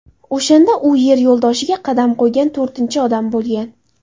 O‘shanda u Yer yo‘ldoshiga qadam qo‘ygan to‘rtinchi odam bo‘lgan.